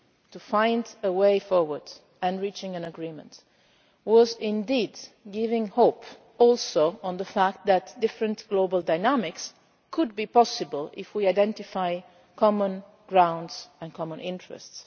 to find a way forward and reach an agreement, did indeed also offer hope for the fact that different global dynamics could be possible if we identify common ground and common interests.